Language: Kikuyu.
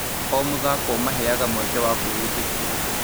O mũthako ũmaheaga mweke wa kwĩĩtĩkia.